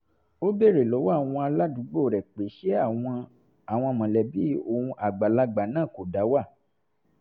ó béèrè lọ́wọ́ àwọn aládùúgbò rẹ̀ pé ṣé àwọn àwọn mọ̀lẹ́bí òun àgbàlagbà náà kò dá wà